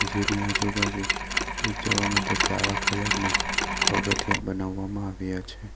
જેની આજુ-બાજુ જવા માટે કાળા કલર ના પગથિયા બનાવવામાં આવ્યા છે.